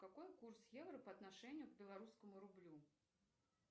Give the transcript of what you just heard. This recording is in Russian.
какой курс евро по отношению к белорусскому рублю